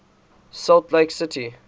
salt lake city